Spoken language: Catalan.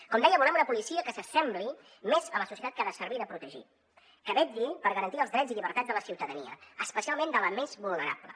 com deia volem una policia que s’assembli més a la societat que ha de servir i de protegir que vetlli per garantir els drets i llibertats de la ciutadania especialment de la més vulnerable